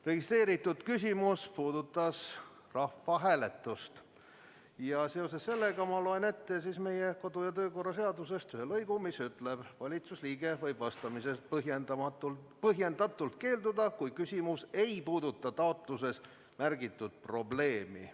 Registreeritud küsimus puudutas rahvahääletust ja seoses sellega ma loen ette meie kodu- ja töökorra seadusest ühe lõigu, mis ütleb: "Valitsusliige võib vastamisest põhjendatult keelduda, kui küsimus ei puuduta taotluses märgitud probleemi ...".